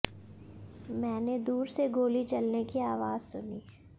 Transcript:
मैंने दूर से गोली चलने की आवाज सुनी